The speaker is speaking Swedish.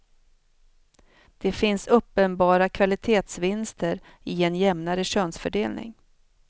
Det finns uppenbara kvalitetsvinster i en jämnare könsfördelning.